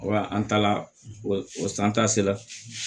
an taala o san ta sera